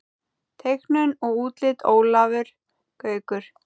Teiknun og útlit Ólafur Gaukur.